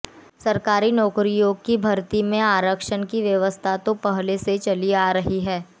सरकारी नौकरियों की भर्ती में आरक्षण की व्यवस्था तो पहले से चली आ रही है